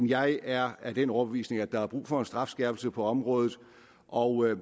jeg er af den overbevisning at der er brug for en strafskærpelse på området og